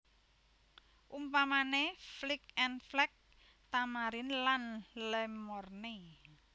Umpamané Flic en Flac Tamarin lan Le Morne